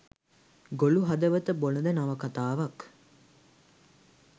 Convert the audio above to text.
ගොළු හදවත බොළඳ නවකතාවක්